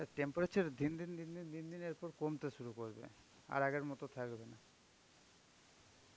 temperature দিন দিন দিন দিন দিন এরপর কমতে শুরু করবে. আর আগের মতন থাকবে না.